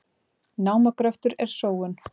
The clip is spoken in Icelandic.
Námagröftur er sóun